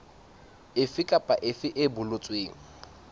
efe kapa efe e boletsweng